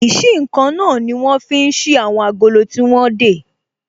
Ìsí-nǹkan náà ní wọ́n fi ń ṣí àwọn agolo tí wọ́n dè